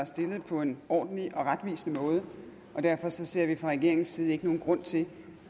stillet på en ordentlig og retvisende måde derfor ser vi fra regeringens side ingen grund til